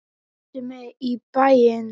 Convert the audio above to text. Ertu með í bæinn?